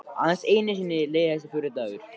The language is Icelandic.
Aðeins einu sinni leið þessi fjórði dagur.